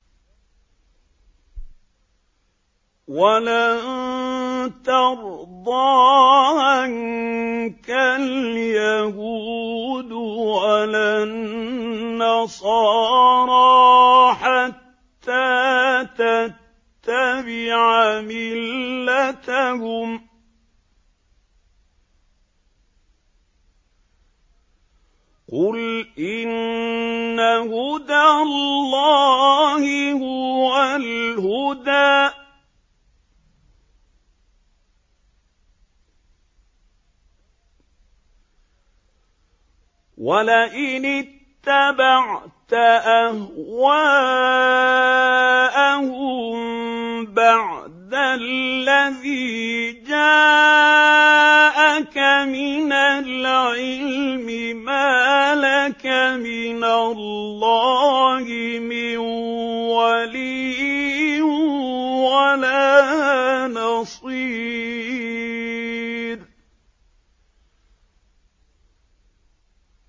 وَلَن تَرْضَىٰ عَنكَ الْيَهُودُ وَلَا النَّصَارَىٰ حَتَّىٰ تَتَّبِعَ مِلَّتَهُمْ ۗ قُلْ إِنَّ هُدَى اللَّهِ هُوَ الْهُدَىٰ ۗ وَلَئِنِ اتَّبَعْتَ أَهْوَاءَهُم بَعْدَ الَّذِي جَاءَكَ مِنَ الْعِلْمِ ۙ مَا لَكَ مِنَ اللَّهِ مِن وَلِيٍّ وَلَا نَصِيرٍ